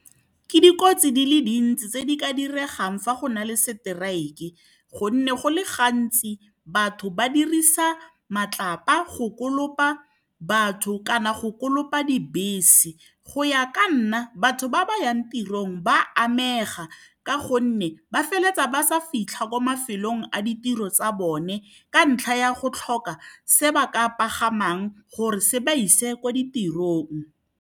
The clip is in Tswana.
Ke dikotsi di le dintsi tse di ka diregang fa go na le strike-e, gonne go le gantsi batho ba dirisa matlapa go kolopa batho kana go kolopa dibese. Go ya ka nna, batho ba ba yang tirong ba amega ka gonne ba feleletsa ba sa fitlha ko mafelong a ditiro tsa bone ka ntlha ya go tlhoka se ba ka pagamang gore se ba ise ko ditirong.